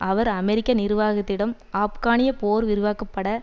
அவர் அமெரிக்க நிர்வாகத்திடம் ஆப்கானிய போர் விரிவாக்கப்பட